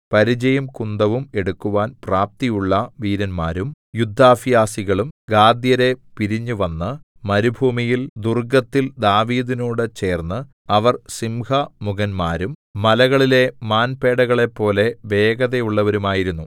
പരിചയും കുന്തവും എടുക്കുവാൻ പ്രാപ്തിയുള്ള വീരന്മാരും യുദ്ധാഭ്യാസികളും ഗാദ്യരെ പിരിഞ്ഞു വന്നു മരുഭൂമിയിൽ ദുർഗ്ഗത്തിൽ ദാവീദിനോടു ചേർന്നു അവർ സിംഹമുഖന്മാരും മലകളിലെ മാൻപേടകളെപ്പോലെ വേഗതയുള്ളവരുമായിരുന്നു